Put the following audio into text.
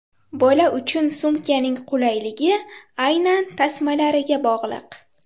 Bola uchun sumkaning qulayligi aynan tasmalariga bog‘liq.